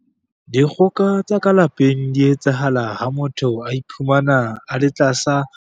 Dikgoka tsa ka lapeng di etsahala ha motho a iphumana a le tlasa.